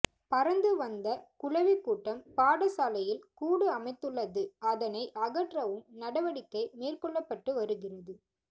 பறந்து வந்த குளவிக் கூட்டம் பாடசாலையில் கூடு அமைத்துள்ளது அதனை அகற்றவும் நடவடிக்கை மேற்கொள்ளப்பட்டு வருகிறது